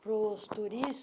para os